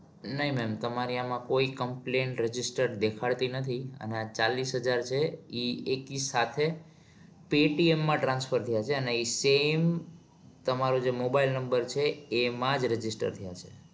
નહિ ma'am તમારી આમાં કોઈ complain register દેખાડતી નથી અને આ ચાલીશ હજાર છે એ એકી સાથે paytm માં transfer થયા છે અને ઈ સામે તમારો mobile number એમાં જ register થયા છે.